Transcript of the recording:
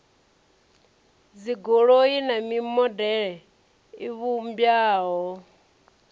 dzigoloi na mimodele i vhumbwaho